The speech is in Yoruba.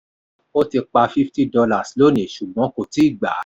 o ti pa $50 lónìí ṣùgbọ́n kò tíì gba.